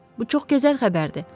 Bu çox gözəl xəbərdir.